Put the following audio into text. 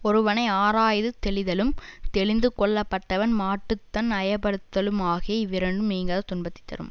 ஒருவனை ஆராயாது தெளிதலும் தெளிந்து கொள்ளப்பட்டவன் மாட்டு தான் ஐயப்படுதலுமாகிய இவ்விரண்டும் நீங்காத துன்பத்தை தரும்